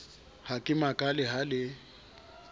ha ke makale ha le